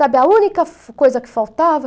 Sabe a única coisa que faltava?